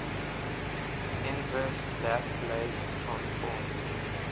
inverse laplace transform